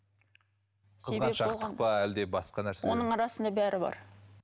қызғаншақтық па әлде басқа нәрсе оның арасында бәрі бар